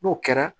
N'o kɛra